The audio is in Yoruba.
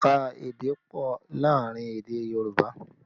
Ẹ̀ka èdè pọ̀ láàrin èdè Yorùbá